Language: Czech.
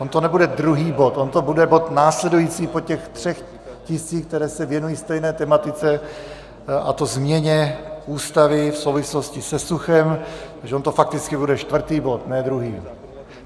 On to nebude druhý bod, on to bude bod následující po těch třech tiscích, které se věnují stejné tematice, a to změně Ústavy v souvislosti se suchem, takže on to fakticky bude čtvrtý bod, ne druhý.